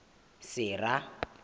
sera